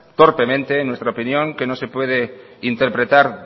torpemente nuestra opinión que no se puede interpretar